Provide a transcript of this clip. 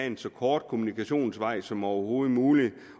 en så kort kommunikationsvej som overhovedet muligt